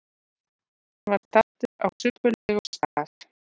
Hann var staddur á subbulegum stað.